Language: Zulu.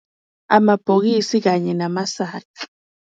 Amabhokisi kanye namasaka.